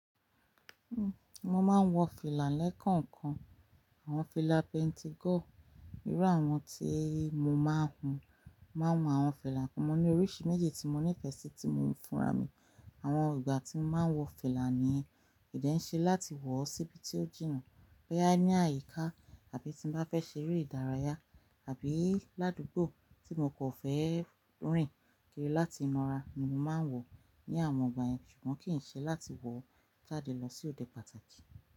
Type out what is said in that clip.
Uhm, mo máa ń wọ fìlà lẹ́ekànkan, àwọn fìlà penti gọ́ọ̀, irú àwọn tí mo máa ń hun. Mo máa ń hun àwọn fìlà kan, mo ní oríṣi méjì tí mo nífẹ̀ẹ́ sí tí mò huń fúnra mi. Àwọn ìgbà tí mo máa ń wọ fìlà niyen, ko de n ṣe láti wọ̀ síbi tí ó jìnnà, boya ní àyíká àbí tí n bá fẹ́ ṣe eré ìdárayá àbí ládùgbò tí mo kan fẹ́ rìn kìri láti mora ni mo máa ń wọ̀ ní àwọn ìgbà yẹn. Ṣùgbọ́n kì n ṣe láti wọ̀ jáde lọ sí òde pàtàkì.